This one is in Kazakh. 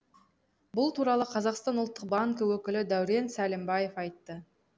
бұл туралы қазақстан ұлттық банкі өкілі дәурен сәлімбаев айтты